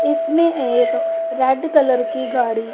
इसमें एक red colour की गाड़ी--